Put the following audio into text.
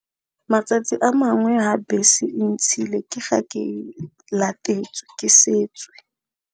Matsatsi a mangwe ha bese ntshile, ke ga ke latetswe, ke setswe.